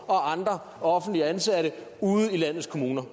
og andre offentligt ansatte ude i landets kommuner